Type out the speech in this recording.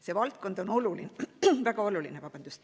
See valdkond on väga oluline.